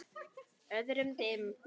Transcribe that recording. Öðrum dimm.